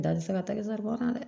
Da tɛ se ka taa kan dɛ